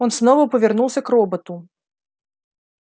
он снова повернулся к роботу